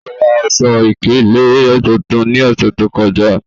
O ra aṣọ-ikele tuntun ni ọṣẹ to kọja.